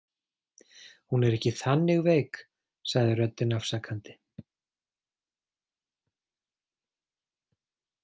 Hún er ekki þannig veik, sagði röddin afsakandi.